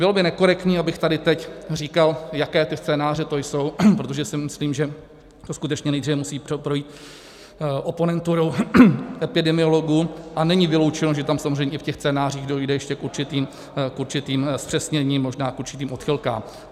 Bylo by nekorektní, abych tady teď říkal, jaké ty scénáře to jsou, protože si myslím, že to skutečně nejdříve musí projít oponenturou epidemiologů, a není vyloučeno, že tam samozřejmě i v těch scénářích dojde ještě k určitým zpřesněním, možná k určitým odchylkám.